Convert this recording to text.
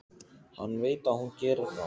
Hann veit að hún gerir það.